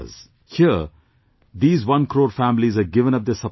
Here, these one crore families have given up their subsidy